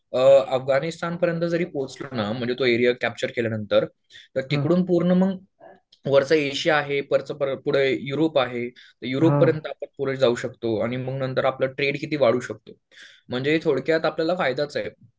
अ अफगाणिस्थानपर्यंत जरी पोहोचलो. म्हणजे तो एरिया कॅप्चर केल्यानंतर तर तिकडून पूर्ण मग, वरचं एशिया आहे पुढं युरोप आहे. युरोपपर्यंत आपण पुढे जाऊ शकतो. आणि मग नंतर आपला ट्रेड किती वाढू शकतो. म्हणजे थोडक्यात आपल्याला फायदाच आहे.